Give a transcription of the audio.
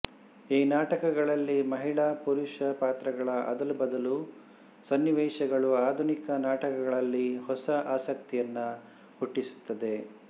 ಈ ನಾಟಕಗಳಲ್ಲಿ ಮಹಿಳಾಪುರುಷ ಪಾತ್ರಗಳ ಅದಲು ಬದಲು ಸನ್ನಿವೇಶಗಳು ಆಧುನಿಕ ನಾಟಕಗಳಲ್ಲಿ ಹೊಸ ಆಸಕ್ತಿಯನ್ನು ಹುಟ್ಟಿಸುತ್ತದೆ